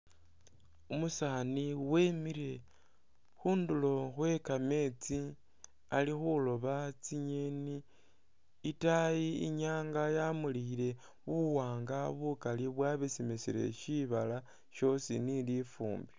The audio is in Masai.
Umusani wimile khundulo khwekameetsi ali khuloba tsingyeni itaayi inyanga yamulikhile buwanga bukali bwabesemesele shibala shosi ni lifumbi.